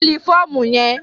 Fílì fọ́ọ̀mù yẹn!